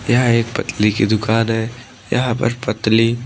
यह एक पतली की दुकान है यहां पर पतली--